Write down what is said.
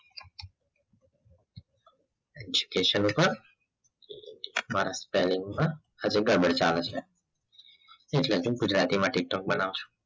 education ઉપપર મારા spelling માં હજુ ગ્રામર ચાલે છે એટલે હું ગુજરાતી માં tiktok બનાવ છું